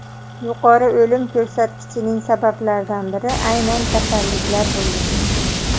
Yuqori o‘lim ko‘rsatkichining sabablaridan biri aynan kasalliklar bo‘lgan.